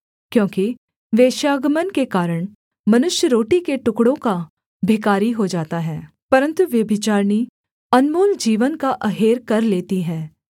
क्योंकि वेश्‍यागमन के कारण मनुष्य रोटी के टुकड़ों का भिखारी हो जाता है परन्तु व्यभिचारिणी अनमोल जीवन का अहेर कर लेती है